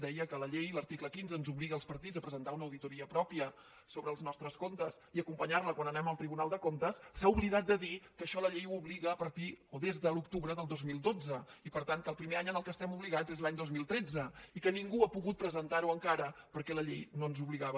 deia que la llei l’article quinze ens obliga als partits a presentar una auditoria pròpia sobre els nostres comptes i acompanyar la quan anem al tribunal de comptes s’ha oblidat de dir que això la llei ho obliga a partir o des de l’octubre del dos mil dotze i per tant que el primer any en què estem obligats és l’any dos mil tretze i que ningú ha pogut presentar ho encara perquè la llei no ens obligava